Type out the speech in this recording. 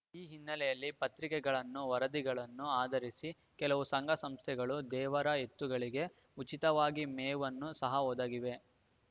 ಈ ಹಿನ್ನೆಲೆಯಲ್ಲಿ ಪತ್ರಿಕೆಗಳನ್ನು ವರದಿಗಳನ್ನು ಆಧರಿಸಿ ಕೆಲವು ಸಂಘ ಸಂಸ್ಥೆಗಳು ದೇವರ ಎತ್ತುಗಳಿಗೆ ಉಚಿತವಾಗಿ ಮೇವನ್ನು ಸಹ ಒದಗಿವೆ